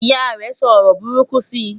ìyá rè sọ ọrọ buruku si